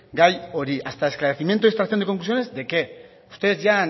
gai hori hasta el esclarecimiento y extracción de conclusiones de qué ustedes ya han